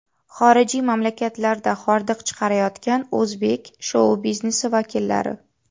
Xorijiy mamlakatlarda hordiq chiqarayotgan o‘zbek shou-biznesi vakillari .